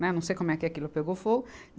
Né, não sei como é que aquilo pegou fogo.